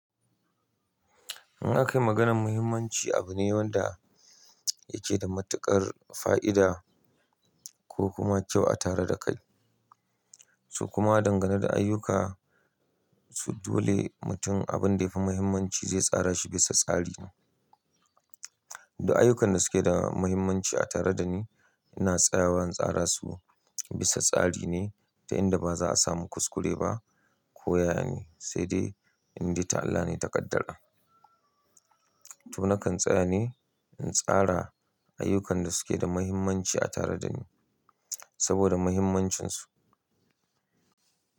In aka yi maganan muhimmanci, abu ne wanda yake da matuƙar fa'ida ko kuma kyau a tare da kai. Su kuma dangane da ayyuka su dole mutum abin da yafi muhimmanci zai tsara shi bisa tsari. Da ayyukan da suke da muhimmanci a tare da ni, ina tsayawa in tsara su bisa tsari ne ta inda ba za a samu kuskure ba ko ya ne, sai dai in dai ta Allah ne ta ƙaddara. To nakan tsaya ne in tsara ayyukan da suke da muhimmanci a tare da ni saboda muhimmancinsu.